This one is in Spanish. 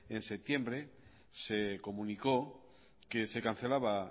en septiembre se comunicó que se cancelaba